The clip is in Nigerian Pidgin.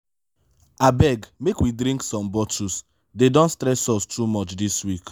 abeg make we drink some bottles dey don stress us too much dis week.